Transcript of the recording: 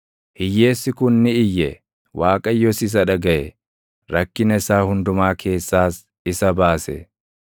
Hiyyeessi kun ni iyye; Waaqayyos isa dhagaʼe; rakkina isaa hundumaa keessaas isa baase.